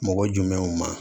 Mɔgɔ jumɛnw ma